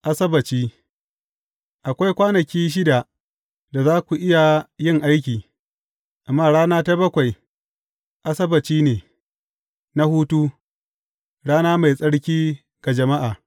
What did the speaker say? Asabbaci Akwai kwanaki shida da za ku iya yin aiki, amma rana ta bakwai, Asabbaci ne na hutu, rana mai tsarki ga jama’a.